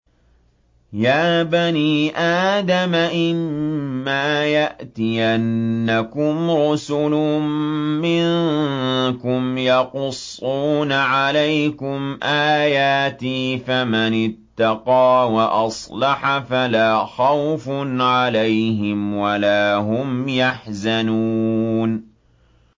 يَا بَنِي آدَمَ إِمَّا يَأْتِيَنَّكُمْ رُسُلٌ مِّنكُمْ يَقُصُّونَ عَلَيْكُمْ آيَاتِي ۙ فَمَنِ اتَّقَىٰ وَأَصْلَحَ فَلَا خَوْفٌ عَلَيْهِمْ وَلَا هُمْ يَحْزَنُونَ